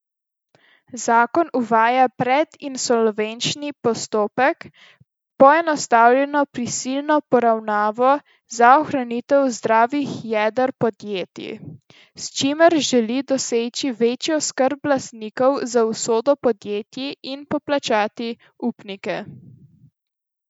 Zakon uvaja predinsolvenčni postopek, poenostavljeno prisilno poravnavo za ohranitev zdravih jeder podjetij, s čimer želi doseči večjo skrb lastnikov za usodo podjetij in poplačati upnike.